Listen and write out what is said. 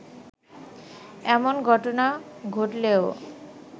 এমন ঘটনা ঘটলেও